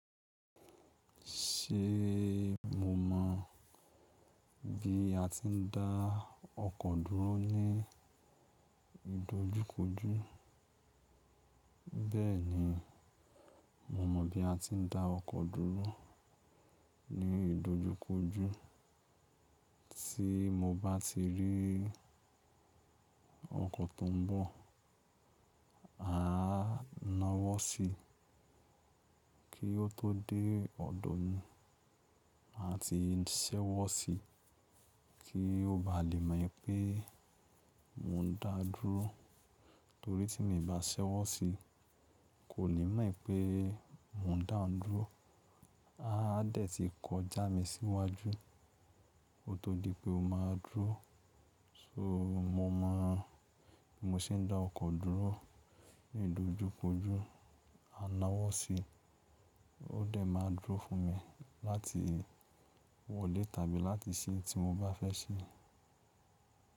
Ṣe mo mọ bí a ti ń dá ọkọ dúró ní ìdojúkojú? Bẹ́ẹ̀ni, mo mọ bí a ti ń dá ọkọ dúró ní ìdojúkojú. Tí mo bá ti rí ọkọ tó ń bọ, máa na wọ sí kí o tó dé ọ̀dọ̀ mi, máa ti ṣẹ́wọ sí kí o bá lè mọ pé mo ń dá dúró. Torí tí mi ń bá ṣẹ́wọ sí, kò ni mọ wípé mo ń dá òun dúró. A a dẹ̀ ti kọ já mi síwájú, kó tó di pé o má dúró. So mo mọ bí mo ṣe ń dá ọkọ dúró ní ìdojúkojú. Máa na wọ sí, o dẹ̀ máa dúró fún mi láti wọlé tàbí láti ṣẹ n tí mo bá fẹ́ ṣẹ.